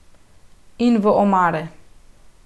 In v omare.